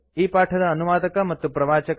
ಈ ಪಾಠದ ಅನುವಾದಕ ಮತ್ತು ಪ್ರವಾಚಕ ಐ